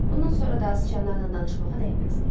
Bundan sonra da sıçanlarla danışmağa dəyməzdi.